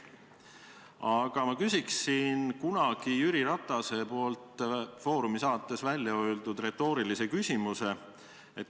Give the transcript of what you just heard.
Aga ma küsiksin kunagi Jüri Ratase "Foorumi" saates välja öeldud retoorilise küsimuse.